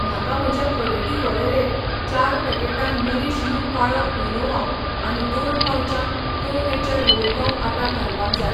म्हाका म्हज्या खरेदी वळेरेंत चार पॅकेटां नरीश यू काळो क्विनोआ आनी दोन पाउचां प्रो नेचर व्होल गंव आटा घालपाक जाय.